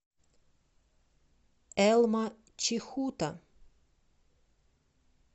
элма чихута